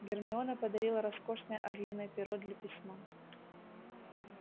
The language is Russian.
гермиона подарила роскошное орлиное перо для письма